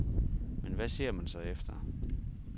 Men hvad ser man så efter?